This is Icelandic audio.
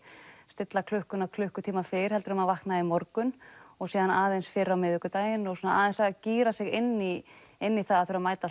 stilla klukkuna klukkutíma fyrr heldur en maður vaknaði í morgun og síðan aðeins fyrr á miðvikudaginn og svona aðeins gíra sig inn í inn í það að þurfa að mæta